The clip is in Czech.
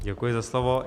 Děkuji za slovo.